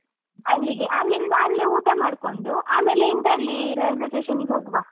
ಅಲ್ಲಿಗೆ ಅಲ್ಲಿಂದ ಅಲ್ಲೆ ಊಟ ಮಾಡ್ಕೊಂಡು ಆಮೇಲೆ ಇಂದ್ರಾಳಿ railway station ನಿಗೆ ಹೋಗುವ.